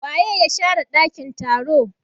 waye ya share dakin taro?